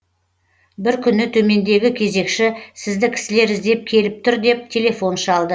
бір күні төмендегі кезекші сізді кісілер іздеп келіп тұр деп телефон шалды